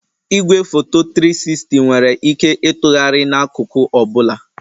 Igwefoto 360 nwere ike ịtụgharị n'akụkụ ọ bụla